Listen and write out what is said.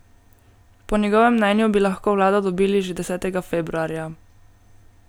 Po njegovem mnenju bi lahko vlado dobili že desetega februarja.